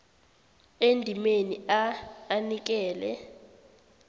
endimeni a anikele